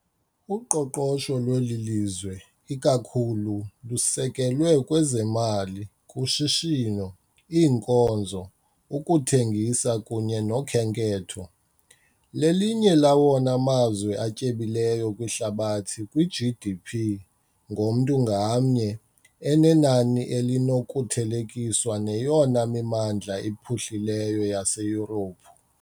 Uqoqosho lweli lizwe ikakhulu lusekelwe kwezemali, kushishino, iinkonzo, ukuthengisa kunye nokhenketho . Lelinye lawona mazwe atyebileyo kwihlabathi kwi -GDP ngomntu ngamnye, enenani elinokuthelekiswa neyona mimandla iphuhlileyo yaseYurophu.